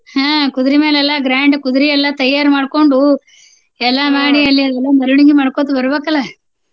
ಹ್ಮ್ ಕುದುರಿ ಮ್ಯಾಲ ಎಲ್ಲಾ grand ಕುದುರಿ ಎಲ್ಲಾ ತಯಾರ್ ಮಾಡ್ಕೊಂಡು ಎಲ್ಲಾ ಅಲ್ಲಿ ಮೆರವಣಿಗಿ ಮಾಡ್ಕೊಂತ ಬರ್ಬೇಕಲ್ಲ.